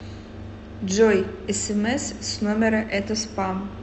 джой смс с номера это спам